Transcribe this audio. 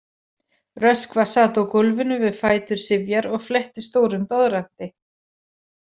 Röskva sat á gólfinu við fætur Sifjar og fletti stórum doðranti.